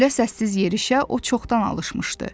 Belə səssiz yerişə o çoxdan alışmışdı.